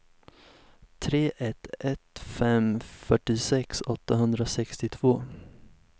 tre ett ett fem fyrtiosex åttahundrasextiotvå